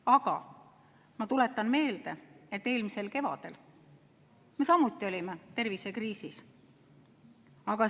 Aga ma tuletan meelde, et eelmisel kevadel me samuti olime tervisekriisis.